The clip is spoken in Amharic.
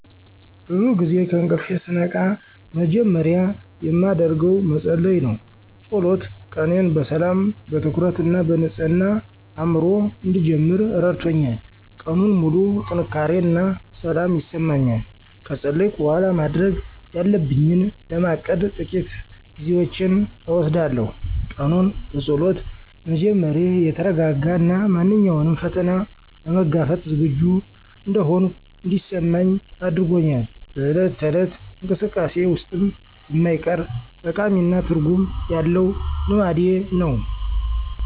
ብዙ ጊዜ ከእንቅልፌ ስነቃ መጀመሪያ የማደርገው መጸለይ ነው። ጸሎት ቀኔን በሰላም፣ በትኩረት እና በንጹህ አእምሮ እንድጀምር ረድቶኛል። ቀኑን ሙሉ ጥንካሬ እና ሰላም ይሰጠኛል። ከጸለይኩ በኋላ፣ ማድረግ ያለብኝን ለማቀድ ጥቂት ጊዜዎችን እወስዳለሁ። ቀኑን በጸሎት መጀመሬ የተረጋጋ እና ማንኛውንም ፈተና ለመጋፈጥ ዝግጁ እንደሆንኩ እንዲሰማኝ አድርጎኛል። በዕለት ተዕለት እንቅስቃሴዬ ውስጥም የማይቀር፣ ጠቃሚ እና ትርጉም ያለው ልማዴ ነው።